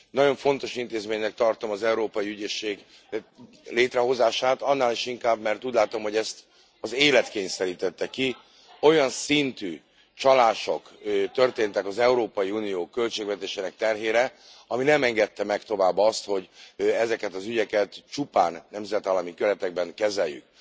Nagyon fontos intézménynek tartom az Európai Ügyészség létrehozását, annál is inkább, mert úgy látom, hogy ezt az élet kényszerítette ki, olyan szintű csalások történtek az Európai Unió költségvetésének terhére, ami nem engedte meg tovább azt, hogy ezeket az ügyeket csupán nemzetállami keretekben kezeljük.